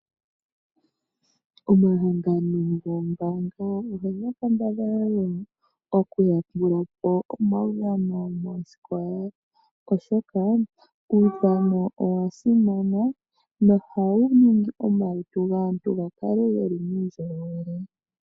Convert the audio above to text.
Omahangano goombaanga oga kambadhala okuyambula po omaudhano moosikola, oshoka uudhano owa simana nohawu ningi omalutu gaantu ga kale ge li muundjolowele.